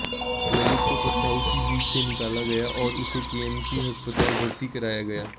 ललित को पथराव कि बीच से निकाला गया और उसे केएमसी अस्पताल भर्ती कराया गया